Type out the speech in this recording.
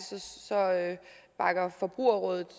bakker forbrugerrådet